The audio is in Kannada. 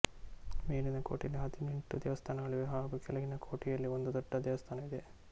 ಮೇಲಿನ ಕೋಟೆಯಲ್ಲಿ ಹದಿನೆಂಟು ದೇವಸ್ಥಾನಗಳಿವೆ ಹಾಗು ಕೆಳಗಿನ ಕೋಟೆಯಲಿ ಒಂದು ದೊಡ್ದ ದೇವಸ್ಥಾನವಿದೆ